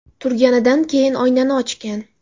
Turganidan keyin oynani ochgan.